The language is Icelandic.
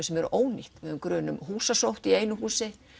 sem eru ónýt við höfum grun um húsasótt í einu húsi